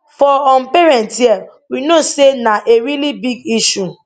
for um parents hia we know say na a really big issue